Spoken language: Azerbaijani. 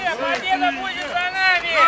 Qalibiyyət bizimlə olacaq!